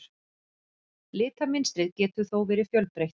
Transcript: Litamynstrið getur þó verið fjölbreytt.